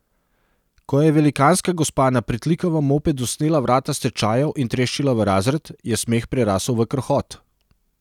Ko je velikanska gospa na pritlikavem mopedu snela vrata s tečajev in treščila v razred, je smeh prerasel v krohot.